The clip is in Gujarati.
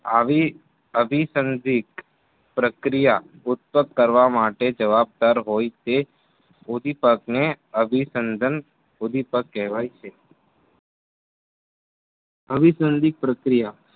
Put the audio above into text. આવે અભિસંધિક પ્રક્રિયા ઉત્પાક કરવા માટે જવાબદાર હોય છે. ઉંધીપગને અભીસંધન રૂઢિપાગ કહેવાય છે. અભિસંધિક પ્રક્રિયા